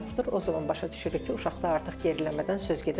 o zaman başa düşürük ki, uşaqda artıq geriləmədən söz gedə bilər.